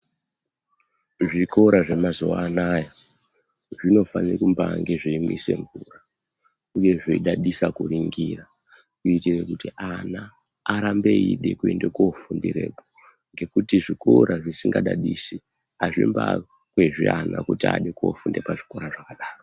Zvikora zvemazuwa anaya zvinofane kumbange zveimwise mvura uye zveibadadisa kuringira kuitire kuti ana arambe eide kuende kofundereko ngekuti zvikora zvisingadadisi azvimbakwezvi ana kuti ade kofunda pazvikora zvakadaro.